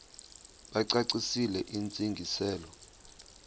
bacacisele intsi ngiselo